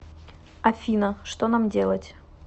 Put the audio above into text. афина что нам делать